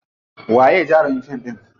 Waye jarumin fim ɗin?